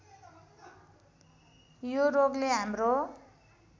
यो रोगले हाम्रो